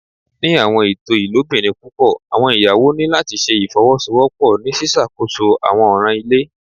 Ni awọn eto ilobirin pupọ awọn iyawo ni lati ṣe ifowosowopo ni ṣiṣakoso awọn ọran ile